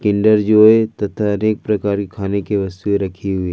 Kinder Joy तथा अनेक प्रकार की खाने की वस्तुएं रखी हुई--